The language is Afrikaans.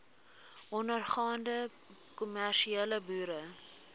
ondergaande kommersiële boere